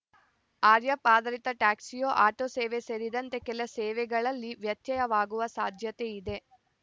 ಆರ್ಯಾಪ್ ಆಧರಿತ ಟ್ಯಾಕಿಸ್ಯೋ ಆಟೋ ಸೇವೆ ಸೇರಿದಂತೆ ಕೆಲ ಸೇವೆಗಳಲ್ಲಿ ವ್ಯತ್ಯಯವಾಗುವ ಸಾಧ್ಯತೆಯಿದೆ